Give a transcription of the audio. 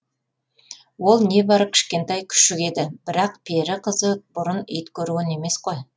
ол небары кішкентай күшік еді бірақ пері қызы бұрын ит көрген емес қой